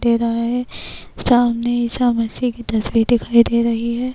دے رہاہے -سامنے عیسی مسیح کی تصویر دکھائی دے رہی ہے-